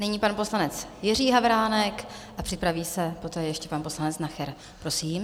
Nyní pan poslanec Jiří Havránek a připraví se poté ještě pan poslanec Nacher, prosím.